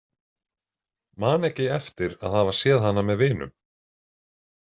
Man ekki eftir að hafa séð hana með vinum.